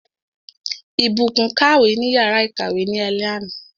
Ìbùkún kàwé ní yàrá ìkàwé ní alé àná.